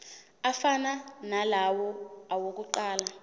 afana nalawo awokuqala